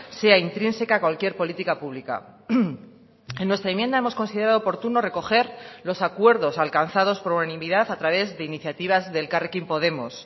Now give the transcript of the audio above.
sea intrínseca a cualquier política pública en nuestra enmienda hemos considerado oportuno recoger los acuerdos alcanzados por unanimidad a través de iniciativas de elkarrekin podemos